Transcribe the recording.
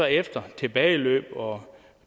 efter tilbageløb og